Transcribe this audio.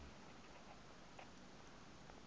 o ile a leka go